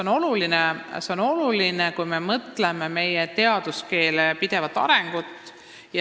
Ma usun, et see on oluline, kui me mõtleme meie teaduskeele pidevale arengule.